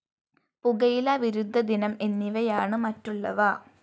പുകയില വിരുദ്ധദിനം എന്നിവയാണ് മറ്റുള്ളവ